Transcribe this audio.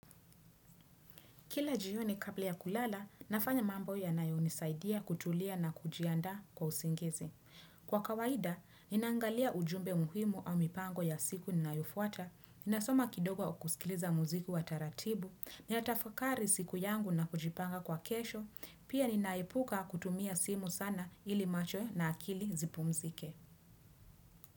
Kila jioni kabla ya kulala, nafanya mambo yanayo nisaidia kutulia na kujiandaa kwa usingizi. Kwa kawaida, ninangalia ujumbe muhimu au mipango ya siku ninayofuata, ninasoma kidogo au kusikiliza muziku wa taratibu, ninatafakari siku yangu na kujipanga kwa kesho, pia ninaepuka kutumia simu sana ili macho na akili zipumzike.